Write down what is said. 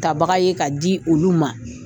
Tabaga ye k'a di olu ma.